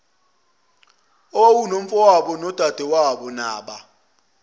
owawunomfowabo nodadewabo naba